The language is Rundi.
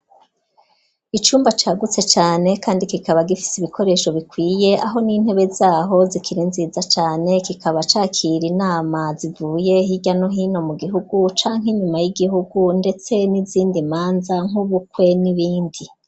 Icumba c'agutse cane kandi kikaba gifise ibikoresho bikwiye aho n'intebe zaho zikiri nziza cane kikaba cakira inama zivuye hirya no hino mu gihugu canka inyuma y'igihugu ndetse n'izindi manza nk'ubukwe n'ibindi.